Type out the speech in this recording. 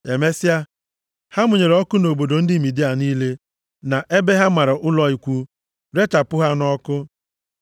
Emesịa, ha mụnyere ọkụ nʼobodo ndị Midia niile na ebe ha mara ụlọ ikwu, rechapụ ha nʼọkụ.